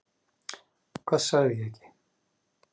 Hvað sagði ég ekki?